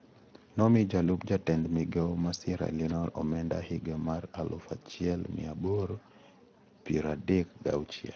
Nomii jalup jatend migao ma Sierre Leone omenda higa mar aluf achiel mia aboro piero adek gi achiel.